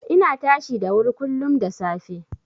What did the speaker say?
Ina tashi da wuri kullum da safe.